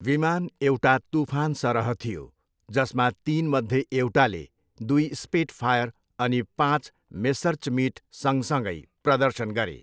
विमान एउटा तूफानसरह थियो, जसमा तिनमध्ये एउटाले दुई स्पिटफायर अनि पाँच मेस्सर्चमिट सँगसँगै प्रदर्शन गरे।